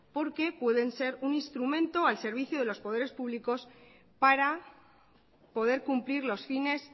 porque pueden ser un instrumento al servicio de los poderes públicos para poder cumplir los fines